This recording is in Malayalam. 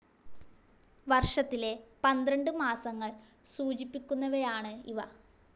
വർഷത്തിലെ പന്ത്രണ്ട് മാസങ്ങൾ സൂചിപ്പിക്കുന്നവയാണ് ഇവ.